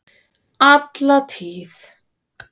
Alla tíð!